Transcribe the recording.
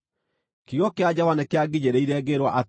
Kiugo kĩa Jehova nĩkĩanginyĩrĩire, ngĩĩrwo atĩrĩ: